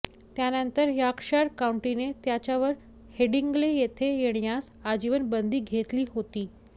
त्यानंतर यॉर्कशर काउंटीने त्याच्यावर हेडिंग्ले येथे येण्यास आजीवन बंदी घेतली होती